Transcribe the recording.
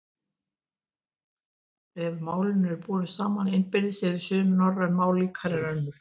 Ef málin eru borin saman innbyrðis eru sum norræn mál líkari en önnur.